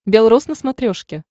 бел рос на смотрешке